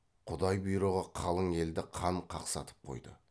құдай бұйрығы қалың елді қан қақсатып қойды